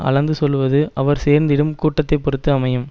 அளந்து சொல்வது அவர் சேர்ந்திடும் கூட்டத்தை பொருத்து அமையும்